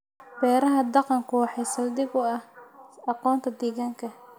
Beeraha dhaqanku waxa saldhig u ah aqoonta deegaanka.